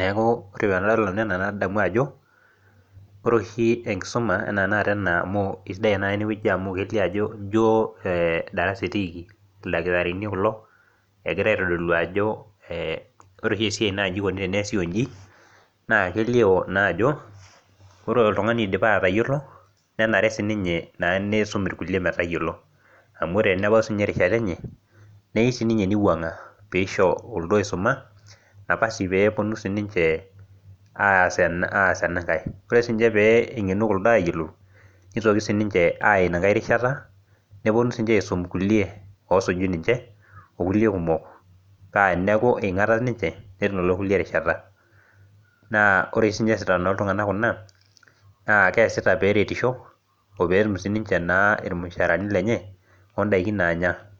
neku ore tenadol nanu nadamu ajo ore oshi enkisuma anaa tenakata ena amu isidai tenakata enewueji amu elio ajo ijio darasa etiiki ildakitarini kulo egira aitodolu ajo ore oshi esiai naa inji ikoni teneesi onji naa kelio naa ajo ore oltung'ani oidipa atayiolo nenare sininye naa neisum irkulie metayiolo amu ore enebau sininye erishata enye neiu sininye neiwuang'a peisho kuldo oisuma napasi peeponu sininche aas aas enankae ore sinche pee eng'enu kuldo ayiolou nitoki sininche aya inankae rishata neponu sininche aisum kulie osuju ninche okulie kumok paa teneeku eing'ata ninche netum lelo kulie erishata naa ore sinye eesita kulo tung'anak kuna naa keesita peretisho opeetum sininche naa irmushaarani lenye ondaiki naanya.